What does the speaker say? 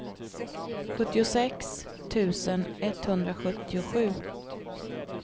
sjuttiosex tusen etthundrasjuttiosju